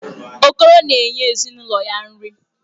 Okoro na-enye ezinụlọ ya nri.